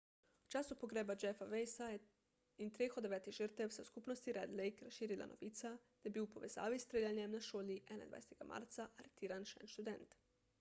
v času pogreba jeffa weisa in treh od devetih žrtev se je v skupnosti red lake razširila novica da je bil v povezavi s streljanjem na šoli 21 marca aretiran še en študent